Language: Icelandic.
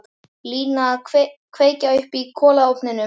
Lína að kveikja upp í kolaofninum.